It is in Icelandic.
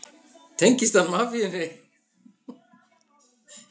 Tengist hann mafíunni?